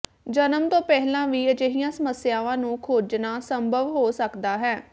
ਜਨਮ ਤੋਂ ਪਹਿਲਾਂ ਵੀ ਅਜਿਹੀਆਂ ਸਮੱਸਿਆਵਾਂ ਨੂੰ ਖੋਜਣਾ ਸੰਭਵ ਹੋ ਸਕਦਾ ਹੈ